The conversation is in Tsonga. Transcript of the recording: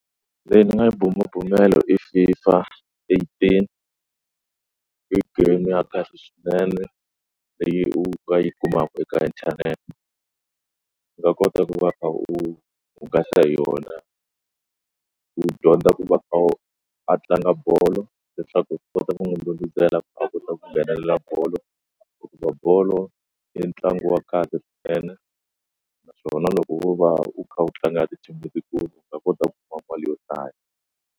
Leyi ndzi nga yi bumabumela i FIFA eighteen i game ya kahle swinene leyi u nga yi kumaka eka inthanete ndzi nga kota ku va ka u hungasa hi yona u dyondza ku va a wu a tlanga bolo leswaku ti kota ku n'wi ku a kota ku nghenelela bolo hikuva bolo i ntlangu wa kahle ene naswona loko wo va u kha u tlangela ti team letikulu va kota ku kuma mali yo tala.